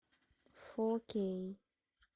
фо кей